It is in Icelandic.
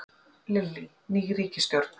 Lillý: Ný ríkisstjórn?